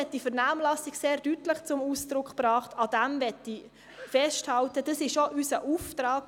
Die Vernehmlassung hat sehr deutlich zum Ausdruck gebracht, dass dies der richtige Ansatz ist, und daran möchte ich festhalten.